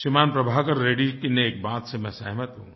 श्रीमान प्रभाकर रेड्डी जी की एक बात से मैं सहमत हूँ